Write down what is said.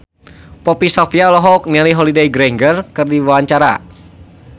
Poppy Sovia olohok ningali Holliday Grainger keur diwawancara